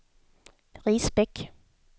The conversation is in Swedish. Risbäck